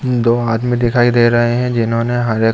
दो आदमी दिखाई दे रहे हैं जिन्होंने हरे --